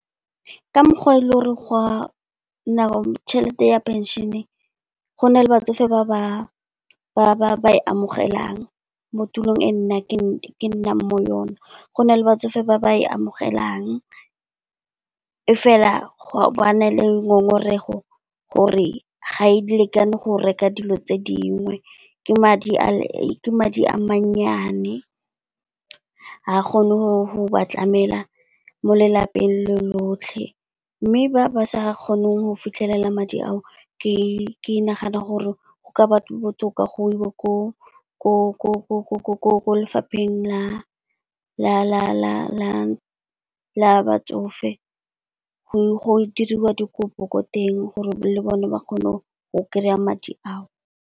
Ka mokgwa o leng gore tšhelete ya penšene, gone batsofe ba ba e amogelang mo tulong e nna ke nnang mo yona. Go na le batsofe ba ba e amogelang, e fela go na le ngongorego gore ga e lekane go reka dilo tse dingwe ke madi a mannyane., ga kgone go ba tlamela mo lelapeng lotlhe. Mme ba ba sa kgoneng go fitlhelela madi ao ke nagana gore go ka ba botoka go iwe ko lefapheng la batsofe, go diriwa dikopo ko teng gore le bone ba kgone go kry-a madi ao.